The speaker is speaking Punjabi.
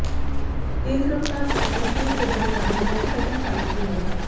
ਤੇਜ਼ ਰਫ਼ਤਾਰ ਟਰੱਕ ਦੀ ਫੇਟ ਵੱਜਣ ਕਾਰਨ ਮੋਟਰਸਾਈਕਲ ਚਾਲਕ ਦੀ ਮੌਤ